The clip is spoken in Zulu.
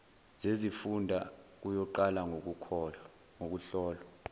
zezifunda kuyoqala ngokuhlolwa